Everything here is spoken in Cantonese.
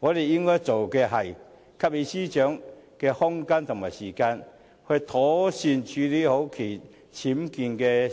我們應該做的是，給予司長空間和時間，妥善處理好其僭建事件。